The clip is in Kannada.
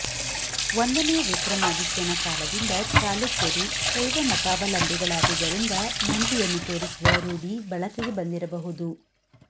ಒಂದನೆಯ ವಿಕ್ರಮಾದಿತ್ಯನ ಕಾಲದಿಂದ ಚಲುಕ್ಯರು ಶೈವ ಮತಾವಲಂಬಿಗಳಾದುದರಿಂದ ನಂದಿಯನ್ನು ತೋರಿಸುವ ರೂಢಿ ಬಳಕೆಗೆ ಬಂದಿರಬಹುದು